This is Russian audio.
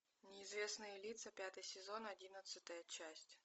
неизвестные лица пятый сезон одиннадцатая часть